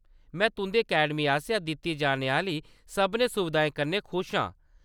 में तुंʼदी अकैडमी आसेआ दित्ती जाने आह्‌‌‌ली सभनें सुविधाएं कन्नै खुश आं।